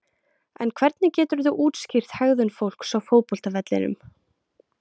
En hvernig geturðu útskýrt hegðun fólks á fótboltavellinum?